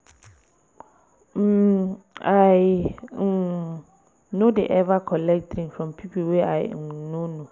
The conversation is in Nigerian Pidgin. um I um no dey eva collect drink from pipo wey I um no know.